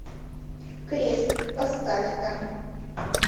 крест поставь ка